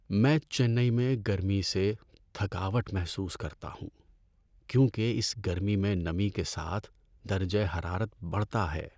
میں چنئی میں گرمی سے تھکاوٹ محسوس کرتا ہوں کیونکہ اس گرمی میں نمی کے ساتھ درجہ حرارت بڑھتا ہے۔